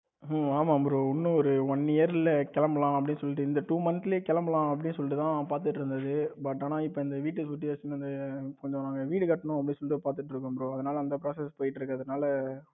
ஆ ஆமா bro இன்னும் ஒரு one year ல கிளம்பலாம் அப்படின்னு சொல்லிட்டு இந்த two month கிளப்பலாம் அப்படின்னு சொல்லிட்டு தான் பாத்துகிட்டு இருந்தது. but ஆனா இப்ப அந்த இந்த வீட்டு situation வந்து கொஞ்சம் வந்து வீடு கட்டணும் வந்து பாத்துட்டு இருக்கேன் bro அதனால அந்த process போய்கிட்டு இருக்கு அதனால